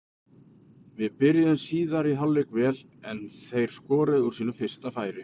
Við byrjuðum síðari hálfleikinn vel en þeir skoruðu úr sínu fyrsta færi.